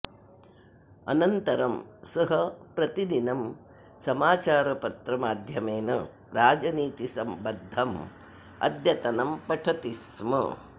अनन्तरं सः प्रतिदिनं समाचारपत्रमाध्यमेन राजनीतिसम्बद्धम् अद्यतनं पठति स्म